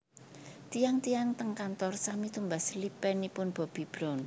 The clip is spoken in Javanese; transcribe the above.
Tiyang tiyang teng kantor sami tumbas lipenipun Bobbi Brown